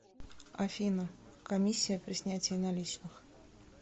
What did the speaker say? афина комиссия при снятии наличных